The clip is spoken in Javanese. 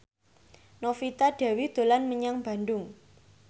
Novita Dewi dolan menyang Bandung